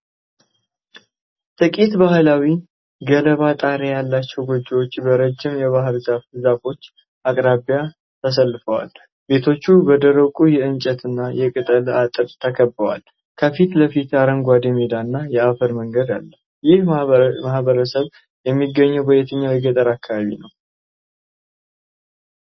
ጥቂት ባህላዊ፣ ገለባ ጣሪያ ያላቸው ጎጆዎች በረጅም የባህር ዛፍ ዛፎች አቅራቢያ ተሰልፈዋል። ቤቶቹ በደረቁ የእንጨትና የቅጠል አጥር ተከብበዋል። ከፊት ለፊት አረንጓዴ ሜዳና የአፈር መንገድ አለ። ይህ ማህበረሰብ የሚገኘው በየትኛው የገጠር አካባቢ ነው?